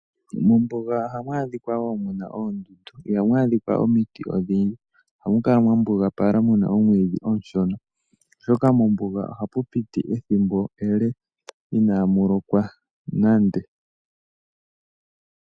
Mombuga ohamu adhika wo muna oondundu, ihamu adhikwa omiti odhindji. Ohamu kala mwa mbugapala muna oomwiidhi oonshona, oshoka mombuga ohapu piti ethimbo ele inamu lokwa nande.